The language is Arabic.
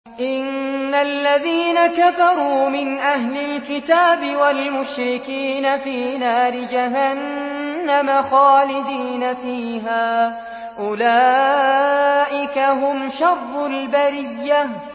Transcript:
إِنَّ الَّذِينَ كَفَرُوا مِنْ أَهْلِ الْكِتَابِ وَالْمُشْرِكِينَ فِي نَارِ جَهَنَّمَ خَالِدِينَ فِيهَا ۚ أُولَٰئِكَ هُمْ شَرُّ الْبَرِيَّةِ